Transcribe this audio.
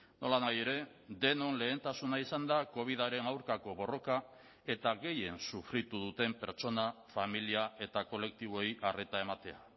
nolanahi ere denon lehentasuna izan da covidaren aurkako borroka eta gehien sufritu duten pertsona familia eta kolektiboei arreta ematea